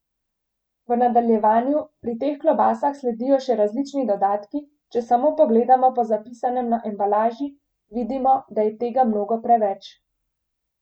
V nadaljevanju pri teh klobasah sledijo še različni dodatki, če samo pogledamo po zapisanem na embalaži, vidimo, da je tega mnogo preveč.